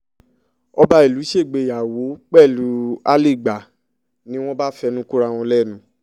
ọba ìlú ṣègbéyàwó pẹ̀lú àlégbà ni wọ́n bá fẹnu kora wọn lẹ́nu